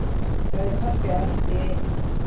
sagði pabbi allt í einu.